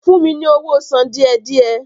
Fún mi ní owó sàn díẹ̀-díẹ̀!